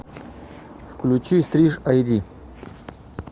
включи стриж айди